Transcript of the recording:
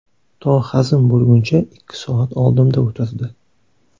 To hazm bo‘lguncha ikki soat oldimda o‘tirdi.